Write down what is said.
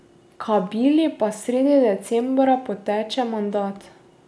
Kabili pa sredi decembra poteče mandat.